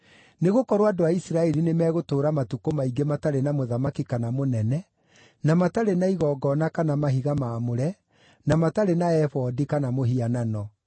Nĩgũkorwo andũ a Isiraeli nĩmegũtũũra matukũ maingĩ matarĩ na mũthamaki kana mũnene, na matarĩ na igongona kana mahiga maamũre, na matarĩ na ebodi kana mũhianano.